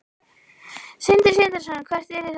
Sindri Sindrason: Hvert yrði það þá?